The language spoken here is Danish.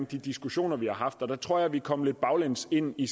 de diskussioner vi har haft og der tror jeg vi er kommet lidt baglæns ind i